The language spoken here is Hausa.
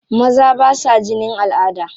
Maza ba sa jinin al'ada.